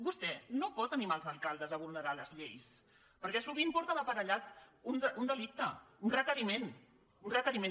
vostè no pot animar els alcaldes a vulnerar les lleis perquè sovint porta aparellat un delicte un requeriment un requeriment